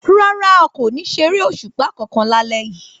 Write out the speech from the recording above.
Rárá, a ò ní ṣeré òṣùpá kankan lálé yìí